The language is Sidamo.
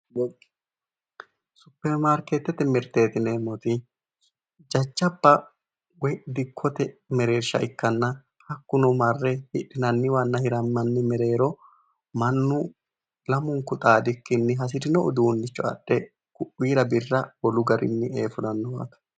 Supperi maarkeettete mirte yineemmoti jajjabba woyi dikkote mereersha ikkanna hakkuno marre hidhinanniwanna hirammanni mereero mannu lamunku xaadikkinni hasirino uduunnicho adhe ku'uyira birra wolu garinni ee fulanno waaga